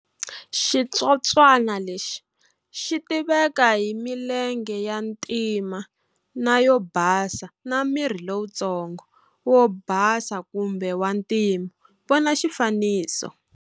Xitsotswana lexi xi tiveka hi milenge ya ntima na yo basa na miri lowuntsongo, wo basa kumbe wa ntima, vona xifaniso.